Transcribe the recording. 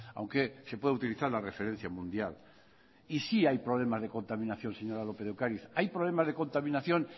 aunque se puede utilizar la referencia mundial y sí hay problemas de contaminación señora lópez de ocariz hay problemas de contaminación